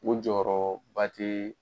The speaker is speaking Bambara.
O jɔyɔrɔ ba te